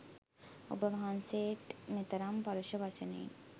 ඔබ වහන්සේට් මෙතරම් පරුෂ වචනයෙන්